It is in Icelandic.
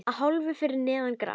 Að hálfu fyrir neðan gras.